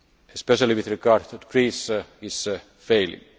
especially with regard to Greece, is failing.